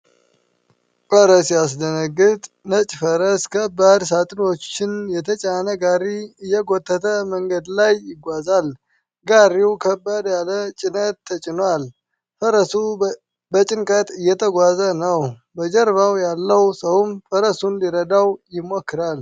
ኧረ ሲያስደነግጥ! ነጭ ፈረስ ከባድ ሣጥኖች የተጫነ ጋሪ እየጎተተ መንገድ ላይ ይጓዛል። ጋሪው ከበድ ያለ ጭነት ተጭኗል፣ ፈረሱ በጭንቅ እየተጓዘ ነው። በጀርባው ያለው ሰውም ፈረሱን ሊረዳው ይሞክራል።